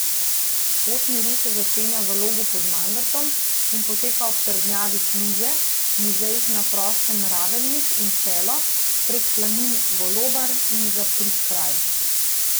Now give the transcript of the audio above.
Pot miru se začenja v Logu pod Mangartom in poteka ob trdnjavi Kluže, muzejih na prostem Ravelnik in Čelo, preko planin Golobar in Zaprikraj.